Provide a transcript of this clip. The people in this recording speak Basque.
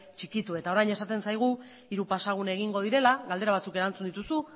txikitu eta orain esaten zaigu hiru pasagune egingo direla galdera batzuk erantzun dituzu